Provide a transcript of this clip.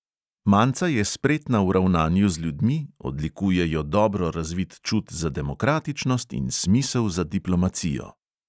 Manca je spretna v ravnanju z ljudmi, odlikuje jo dobro razvit čut za demokratičnost in smisel za diplomacijo.